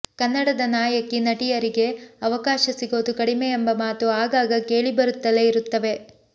ಕನ್ನಡದ ನಾಯಕಿ ನಟಿಯರಿಗೆ ಅವಕಾಶ ಸಿಗೋದು ಕಡಿಮೆ ಎಂಬ ಮಾತು ಆಗಾಗ ಕೇಳಿಬರುತ್ತಲೇ ಇರುತ್ತವೆ